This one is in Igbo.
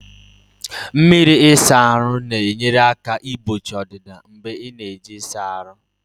Mmiri ịsa ahụ na-enyere aka igbochi ọdịda mgbe ị na-eji ịsa ahụ